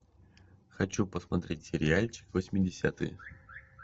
хочу посмотреть сериальчик восьмидесятые